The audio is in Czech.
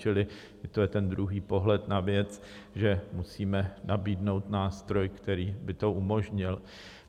Čili to je ten druhý pohled na věc, že musíme nabídnout nástroj, který by to umožnil.